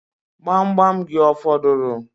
Gbamgbam gị ọ fọdụrụ?